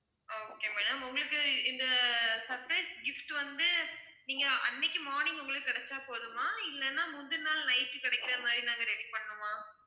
okay madam உங்களுக்கு இந்த surprise gift வந்து நீங்க அன்னைக்கு morning உங்களுக்கு கிடைச்சா போதுமா இல்லன்னா முந்தின நாள் night கிடைக்கிற மாதிரி நாங்க ready பண்ணனுமா?